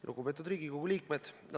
Lugupeetud Riigikogu liikmed!